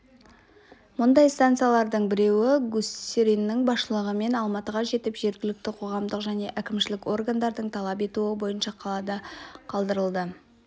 мұндай станциялардың біреуі гусериннің басшылығымен алматыға жетіп жергілікті қоғамдық және әкімшілік органдардың талап етуі бойынша қалада қалдырылды